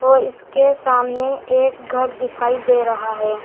और इसके सामने एक घर दिखाई दे रहा है।